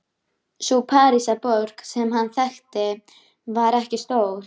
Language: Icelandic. Sú Parísarborg sem hann þekkti var ekki stór.